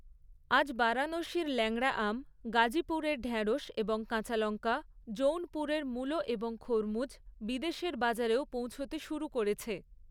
আজ বারাণসীর ল্যাংড়া আম, গাজীপুরের ঢ্যাঁড়শ এবং কাঁচালঙ্কা, জৌনপুরের মুলো এবং খরমুজ বিদেশের বাজারেও পৌঁছতে শুরু করেছে।